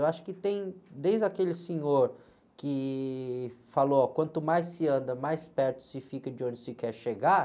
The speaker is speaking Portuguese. Eu acho que tem, desde aquele senhor que falou, quanto mais se anda, mais perto se fica de onde se quer chegar,